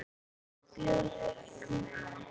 Björk mín.